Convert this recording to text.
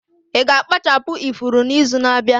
Ị ga-akpachapụ ifuru n'izu na-abịa?